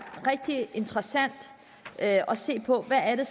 rigtig interessant at se på hvad